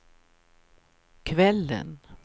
kvällen